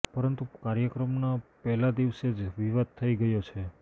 પરંતુ કાર્યક્રમના પહેલા દિવસે જ વિવાદ થઇ ગયો છે